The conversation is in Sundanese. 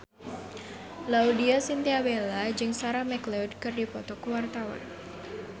Laudya Chintya Bella jeung Sarah McLeod keur dipoto ku wartawan